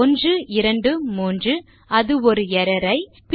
1 2 3 அது ஒரு எர்ரர் ஐ